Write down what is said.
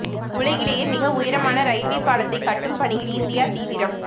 உலகிலேயே மிக உயரமான ரயில்வே பாலத்தை கட்டும் பணியில் இந்தியா தீவிரம்